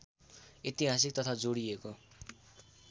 ऐतिहासिक तथ्य जोडिएको